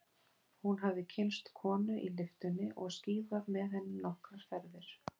Hún hafði kynnst konu í lyftunni og skíðað með henni nokkrar ferðir.